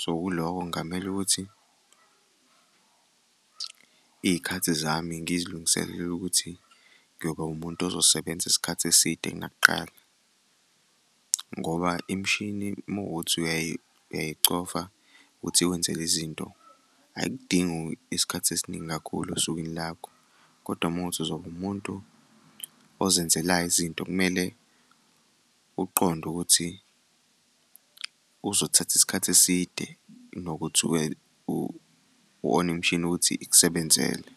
so kulokho kungamele ukuthi iy'khathi zami ngizilungiselele ukuthi ngiyoba umuntu ozosebenza isikhathi eside kunakuqala ngoba imishini uma kuwukuthi uyayicofa ukuthi ikwenzele izinto, ayikudingi isikhathi esiningi kakhulu osukwini lakho, kodwa uma kuwukuthi uzoba umuntu ozenzelayo izinto kumele ukuqonde ukuthi kuzothatha isikhathi eside kunokuthi u-one imishini ukuthi ikusebenzele.